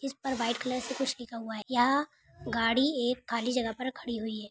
इस पर white colour से कुछ लिखा हुआ है यह गाड़ी एक खाली जगह पर खड़ी हुई है।